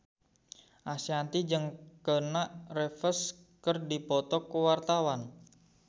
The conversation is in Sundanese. Ashanti jeung Keanu Reeves keur dipoto ku wartawan